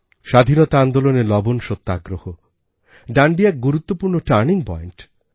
স্বাধীনতা আন্দোলনে লবণ সত্যাগ্রহ ডান্ডি এক গুরুত্বপূর্ণ টার্নিং point